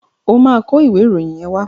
Ó máa kọ ìwé ìròyìn yẹn wá.